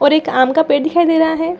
और एक आम का पेड़ दिखाई दे रहा है।